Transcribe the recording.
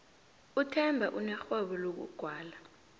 uthemba unerhwebo lokugwala